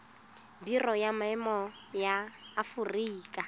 biro ya boemo ya aforika